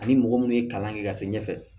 Ani mɔgɔ minnu ye kalan kɛ ka se ɲɛfɛ